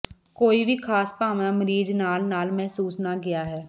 ਕੋਈ ਵੀ ਖਾਸ ਭਾਵਨਾ ਮਰੀਜ਼ ਨਾਲ ਨਾਲ ਮਹਿਸੂਸ ਨਾ ਗਿਆ ਹੈ